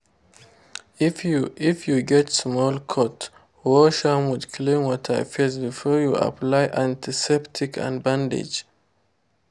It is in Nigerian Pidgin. if you if you get small cut wash am with clean water first before you apply antiseptic and bandage.